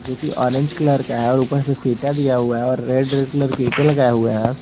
क्योंकि orange colour का है और ऊपर से इंटा दिया हुआ है और रेड रेड कलर की ईंटे लगाए हुए हैं।